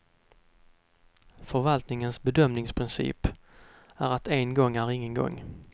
Förvaltningens bedömningsprincip är att en gång är ingen gång.